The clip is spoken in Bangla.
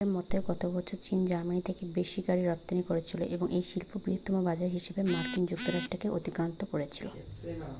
প্রথমবারের মতো গতবছর চীন জার্মানীর থেকে বেশি গাড়ি রপ্তানি করেছিল এবং এই শিল্পের বৃহত্তম বাজার হিসেবে মার্কিন যুক্তরাষ্ট্র কে অতিক্রান্ত করেছিল